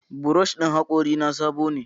Brush ɗin hakorina sabo ne.